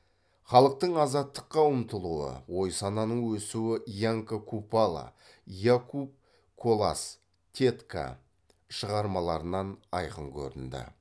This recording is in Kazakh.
халықтың азаттыққа ұмтылуы ой сананың өсуі янка купала якуб колас тетка шығармаларынан айқын көрінді